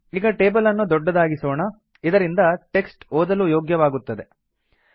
ಈಗ ಟೇಬಲ್ ಅನ್ನು ದೊಡ್ಡದಾಗಿಸೋಣ ಇದರಿಂದ ಟೆಕ್ಸ್ಟ್ ಓದಲು ಯೋಗ್ಯವಾಗುತ್ತದೆ